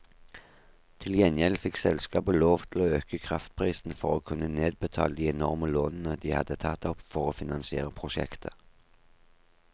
Til gjengjeld fikk selskapet lov til å øke kraftprisen for å kunne nedbetale de enorme lånene det hadde tatt opp for å finansiere prosjektet.